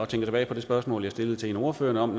tilbage på det spørgsmål jeg stillede til en af ordførerne om